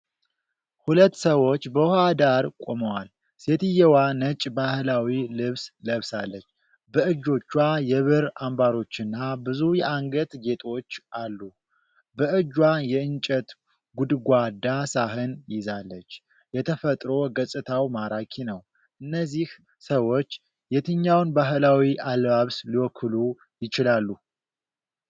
ሁለት ሰዎች በውኃ ዳር ቆመዋል። ሴትየዋ ነጭ ባህላዊ ልብስ ለብሳለች። በእጆቿ የብር አምባሮችና ብዙ የአንገት ጌጦች አሉ። በእጇ የእንጨት ጎድጓዳ ሳህን ይዛለች። የተፈጥሮ ገጽታው ማራኪ ነው። እነዚህ ሰዎች የትኛውን ባህላዊ አለባበስ ሊወክሉ ይችላሉ?